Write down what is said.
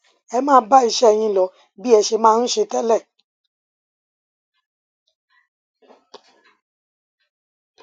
ẹ máa bá iṣẹ yín lọ bí ẹ ṣe máa ń ṣe tẹlẹ